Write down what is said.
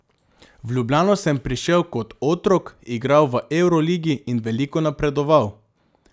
V Ljubljano sem prišel kot otrok, igral v evroligi in veliko napredoval.